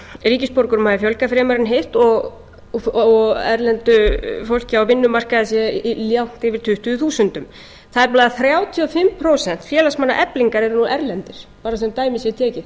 ríkisborgurum hafi fjölgað fremur en hitt og erlent fólk á vinnumarkaði sé langt yfir tuttugu þúsundum tæplega þrjátíu og fimm prósent félagsmanna eflingar eru nú erlendir bara svo dæmi sé tekið